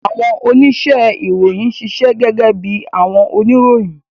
Awọn onise-iroyin ṣiṣẹ gege bi awọn oniroyin.